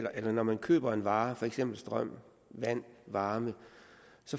at når man køber varer som for eksempel strøm vand og varme